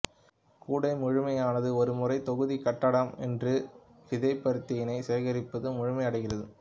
கூடை முழுமையானது ஒரு முறை தொகுதி கட்டடம் என்று விதைபருத்தினை சேகரிப்பது முழுமையடைகிறது